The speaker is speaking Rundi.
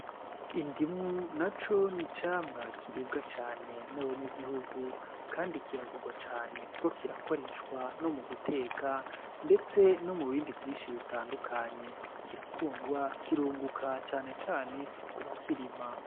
Indimu naco ni icamwa kiribwa cane n'abanyagihugu kandi kiragurwa cane kuko kirakoreshwa no mu guteka ndetse no mu bindi vyinshi bitandukanye. Kirakundwa, kirunguka cane cane kubakirima.